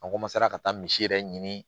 An ka taa misi yɛrɛ ɲini